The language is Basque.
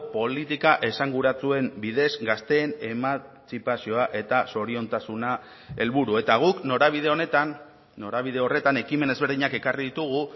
politika esanguratsuen bidez gazteen emantzipazioa eta zoriontasuna helburu eta guk norabide honetan norabide horretan ekimen ezberdinak ekarri ditugu